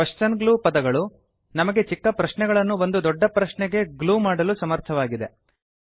question glues ಪದಗಳು ನಮಗೆ ಚಿಕ್ಕ ಪ್ರಶ್ನೆಗಳನ್ನು ಒಂದು ದೊಡ್ಡ ಪ್ರಶ್ನೆಗೆ ಗ್ಲೂ ಮಾಡಲು ಸಮರ್ಥವಾಗಿವೆ